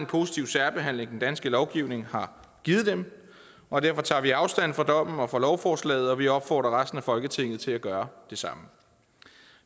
positive særbehandling den danske lovgivning har givet dem og derfor tager vi afstand fra dommen og fra lovforslaget og vi opfordrer resten af folketinget til at gøre det samme